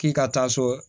K'i ka taa so